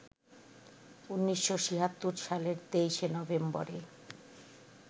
১৯৭৬ সালের ২৩শে নভেম্বরে